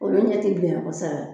Olu ɲɛ tɛ bilenya kosɛbɛ